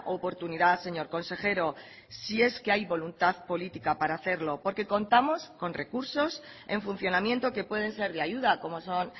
oportunidad señor consejero si es que hay voluntad política para hacerlo porque contamos con recursos en funcionamiento que pueden ser de ayuda como son